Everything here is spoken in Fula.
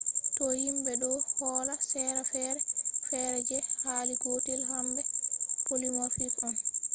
to himbe do holla sera fere fere je hali gotel hambe polymorphic on